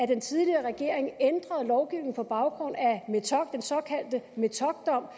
den tidligere regering ændrede lovgivningen på baggrund af den såkaldte metockdom